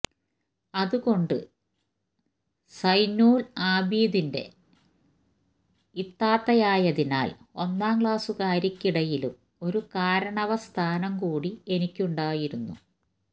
അതു കൊണ്ട് സൈനുല്ആബിദീന്റെ ഇത്താത്തയായതിനാല് ഒന്നാം ക്ലാസുകാര്ക്കിടയിലും ഒരു കാരണവ സ്ഥാനം കൂടി എനിക്കുണ്ടായിരുന്നു